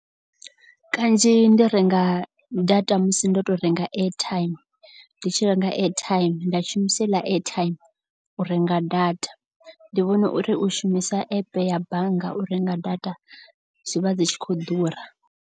Kanzhi ndi renga data musi ndo to renga airtime. Ndi tshi renga airtime nda shumisa heiḽa airtime u renga data. Ndi vhona uri u shumisa epe ya bannga u renga data zwivha dzi tshi khou ḓura.